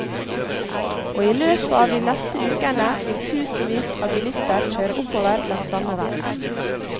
Og i løpet av de neste ukene vil tusenvis av bilister kjøre oppover langs samme vei.